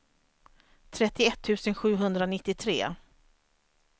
trettioett tusen sjuhundranittiotre